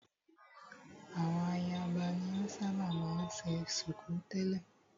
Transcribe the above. Àwọn ayaba ni o ṣábà máa ń ṣe ṣùkú tẹ̀lẹ́.